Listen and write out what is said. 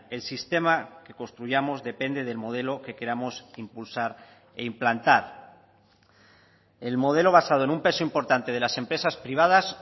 el sistema que construyamos depende del modelo que queramos impulsar e implantar el modelo basado en un peso importante de las empresas privadas